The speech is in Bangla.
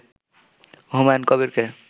হুমায়ুন কবিরকে